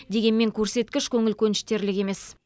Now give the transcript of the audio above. дегенмен көрсеткіш көңіл көніштерлік емес